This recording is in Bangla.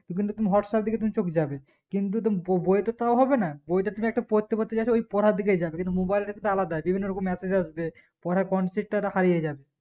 টু কিন্তু তখন whatsapp দিকে তখন চোখ যাবে কিন্তু বোবইয়ে তো তও হবে না বইয়ে তে রক্ত পড়তে পড়তে জেছো ওই পড়ার দিকে যাবে কিন্তু mobile এর ক্ষেত্রে আলাদা বিভিন্ন রকম message আসবে পড়ার concept টা তো হারিয়ে যাবে